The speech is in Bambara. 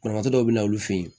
Banabagatɔ dɔw bɛ na olu fɛ yen